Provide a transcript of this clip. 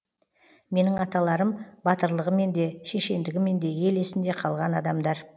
менің аталарым батырлығымен де шешендігімен де ел есінде қалған адамдар